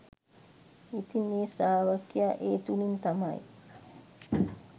ඉතින් ඒ ශ්‍රාවකයා ඒ තුළින් තමයි